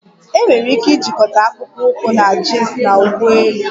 Enwere ike ijikọta akpụkpọ ụkwụ na jins na uwe elu